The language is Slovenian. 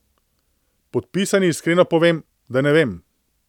Podpisani iskreno povem, da ne vem.